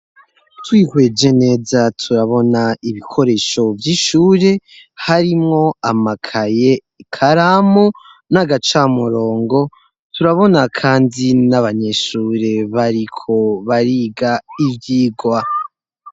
Twihweje neza turabona ibikoresho vy'ishure harimwo amakaye karamu n'agacamurongo turabona, kandi n'abanyeshure bariko bariga ivyigwa.